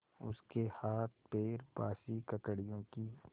उसके हाथपैर बासी ककड़ियों की